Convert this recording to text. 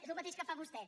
és el mateix que fa vostè